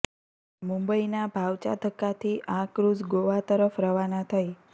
મુંબઈના ભાઉચા ધક્કાથી આ ક્રૂઝ ગોવા તરફ રવાના થઈ